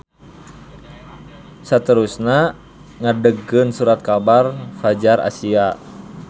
Saterusna ngadegkeun surat kabar Fadjar Asia.